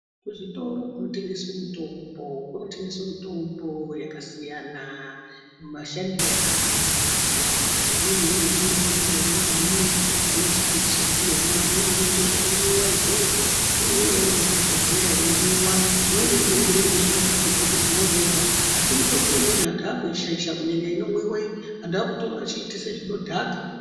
Kuzvitoro zvinotengeswe mutombo, kunotengeswe mitombo yakasiyana mashandire ayo akasiyana imweni ine njira imweni ngaimwe yainoshandiswa ndiona imweni inoite zvekumwiwa izvozvo inouya iri muzvibhodhlera yeimwiwa, imweni inouya irimuzvimakandibhokisimwo umwomwo asi mitombo imweni antu akuishaisha kunyanya inomwiwa iyi antu akuitora echiitise zvinodhaka.